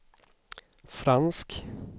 fransk